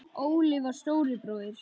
Óli var stóri bróðir.